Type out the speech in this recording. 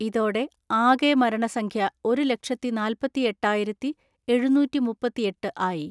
ഇതോടെ ആകെ മരണസംഖ്യ ഒരു ലക്ഷത്തി നാല്പത്തിഎട്ടായിരത്തിഎഴുന്നൂറ്റിമുപ്പത്തിഎട്ട് ആയി.